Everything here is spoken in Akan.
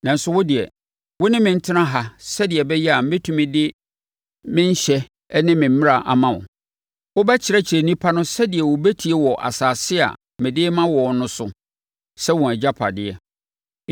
Nanso, wo deɛ, wo ne me ntena ha sɛdeɛ ɛbɛyɛ a mɛtumi de me nhyɛ ne me mmara ama wo. Wobɛkyerɛkyerɛ nnipa no sɛdeɛ wɔbɛtie wɔ asase a mede rema wɔn no so sɛ wɔn agyapadeɛ.”